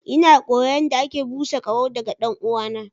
Ina koyon yadda ake busa ƙaho daga ɗan'uwana.